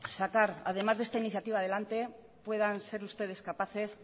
sacar además de esta iniciativa adelante puedan ser ustedes capaces